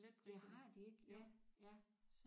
Ja har de ikke ja ja